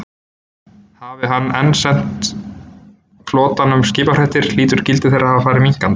Hafi hann enn sent flotanum skipafréttir, hlýtur gildi þeirra að hafa farið minnkandi.